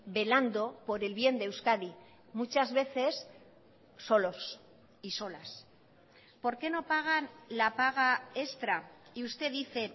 velando por el bien de euskadi muchas veces solos y solas por qué no pagan la paga extra y usted dice